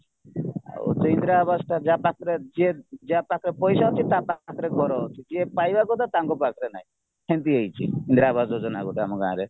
ଆଉ ସେ ଇନ୍ଦିରାଆବାସଟା ଯାହା ପାଖରେ ଯିଏ ଯାହାପାଖରେ ପଇସା ଅଛି ତାପାଖରେ ଘର ଅଛି ଯିଏ ପାଇବା କଥା ତାଙ୍କ ପାଖରେ ନାହିଁ ସେମିତି ହେଇଚି ଇନ୍ଦିରାଆବାସ ଯୋଜନା ଆମ ଗୋଟେ ଗାଁରେ